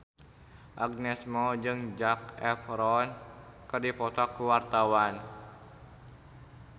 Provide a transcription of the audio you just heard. Agnes Mo jeung Zac Efron keur dipoto ku wartawan